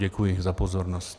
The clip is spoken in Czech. Děkuji za pozornost.